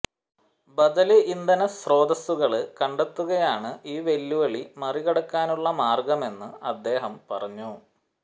ബദല് ഇന്ധനസ്രോതസ്സുകള് കണ്ടെത്തുകയാണ് ഈ വെല്ലുവിളി മറികടക്കാനുള്ള മാര്ഗമെന്ന് അദ്ദേഹം പറഞ്ഞു